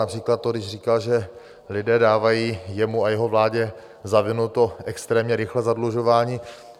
Například to, když říkal, že lidé dávají jemu a jeho vládě za vinu to extrémně rychlé zadlužování.